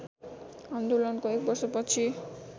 आन्दोलनको एक वर्षपछि